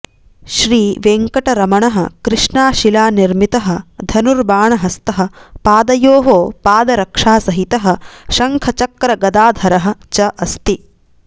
श्रीवेङ्कटरमणः कृष्णाशिलानिर्मितः धनुर्बाणहस्तः पादयोः पादरक्षासहितः शङ्खचक्रगदाधरः च अस्ति